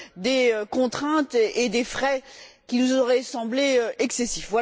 des contraintes et des frais qui nous auraient semblé excessifs.